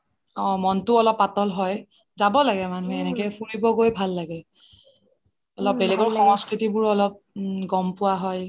অহ মনটো অলপ পাতল হয় যাব লাগে মানুহে এনেকে ফুৰিব গৈ ভাল লাগে অলপ বেলেগৰ সংস্কৃতিবোৰও অলপ গ'ম পোৱা হয়